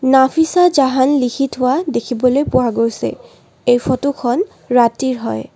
নাফিচা জাহান লিখি থোৱা দেখিবলৈ পোৱা গৈছে এই ফটোখন ৰাতিৰ হয়।